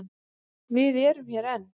Við erum hér enn.